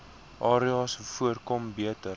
areas voorkom beter